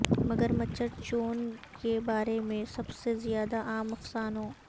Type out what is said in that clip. مگرمچرچھون کے بارے میں سب سے زیادہ عام افسانوں